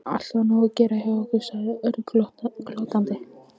Alltaf nóg að gera hjá ykkur sagði Örn glottandi.